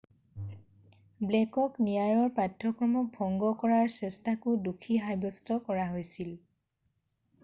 ব্লেকক ন্যায়ৰ পাঠ্যক্ৰমক ভংগ কৰাৰ চেষ্টাকো দোষী সাব্যস্ত কৰা হৈছিল